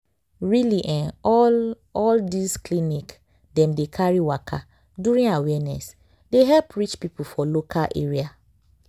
really eh all all this clinic dem dey carry waka during awareness dey help reach people for local area.